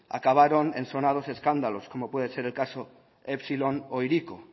acabaron en sonados escándalos como puede ser el caso epsilon o hiriko